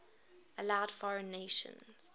allowed foreign nations